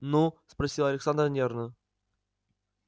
ну спросила александра нервно